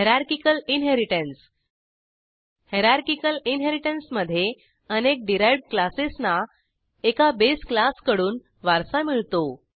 hierarchical inheritance hierarchical इनहेरिटन्समधे अनेक derived क्लासेसना एका बेस क्लासकडून वारसा मिळतो